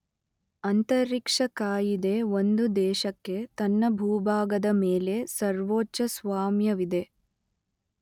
ಅಂತರಿಕ್ಷ ಕಾಯಿದೆ ಒಂದು ದೇಶಕ್ಕೆ ತನ್ನ ಭೂಭಾಗದ ಮೇಲೆ ಸರ್ವೋಚ್ಚ ಸ್ವಾಮ್ಯವಿದೆ.